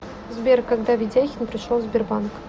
сбер когда ведяхин пришел в сбербанк